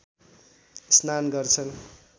स्नान गर्छन्